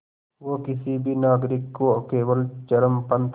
वो किसी भी नागरिक को केवल चरमपंथ